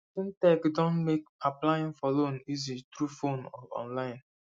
fintech don make applying for loan easy through phone or online